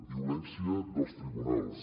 violència dels tribunals